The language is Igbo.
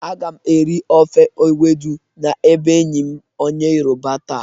Aga m eri ofe ewedu n'ebe enyi m onye yoroba taa.